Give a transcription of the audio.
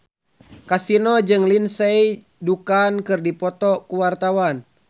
Kasino jeung Lindsay Ducan keur dipoto ku wartawan